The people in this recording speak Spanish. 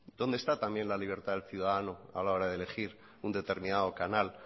dónde está también la libertad del ciudadano a la hora de elegir un determinado canal